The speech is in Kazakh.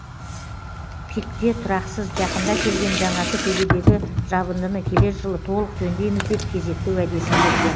пик те тұрақсыз жақында келген жаңасы төбедегі жабындыны келер жылы толық жөндейміз деп кезекті уәдесін берген